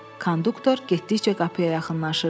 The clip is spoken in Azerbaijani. Konduktor getdikcə qapıya yaxınlaşırdı.